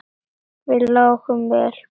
Við lágum vel við höggi.